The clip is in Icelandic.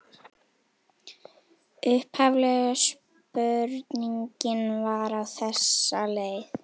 Upphaflega spurningin var á þessa leið: